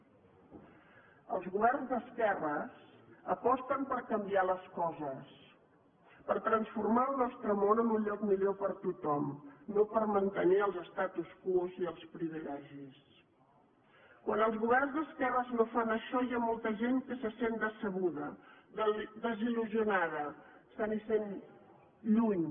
els governs d’esquerres aposten per canviar les coses per transformar el nostre món en un lloc millor per a tothom no per mantenir els statu quoquan els governs d’esquerres no fan això hi ha molta gent que se sent decebuda desil·lusionada s’hi sent lluny